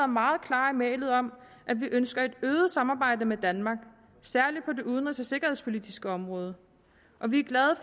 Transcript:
meget klare i mælet om at vi ønsker et øget samarbejde med danmark særlig på det udenrigs og sikkerhedspolitiske område og vi er glade